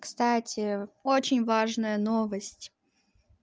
кстати очень важная новость